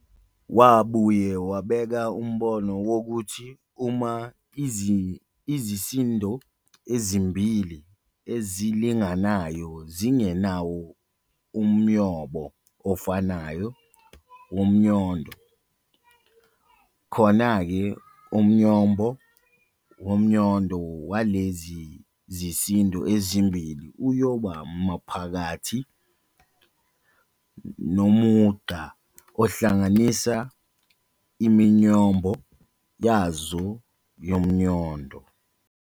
Wabuye wabeka umbono wokuthi uma izisindo ezimbili ezilinganayo zingenawo umyombo ofanayo womnyondo, khonake umnyombo womnyondo walezi zisindo ezimbili uyoba maphakathi nomugqa ohlanganisa iminyombo yazo yomnyondo.